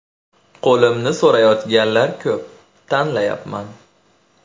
Qo‘limni so‘rayotganlar ko‘p, tanlayapman.